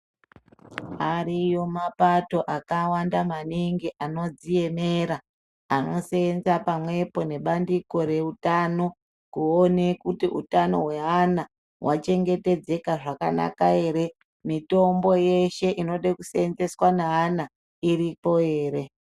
Ariyo mapato akawanda maningi anodziemerera anoseenza pamwepo nebandiko reutano kuone kuti utano hweana hwachengetedzeka zvakanaka ere, mitombo ueshe inoda kuseenzeswa neana iripo ere?